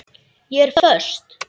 Ég er föst.